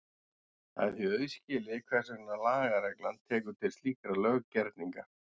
Það er því auðskilið hvers vegna lagareglan tekur til slíkra löggerninga.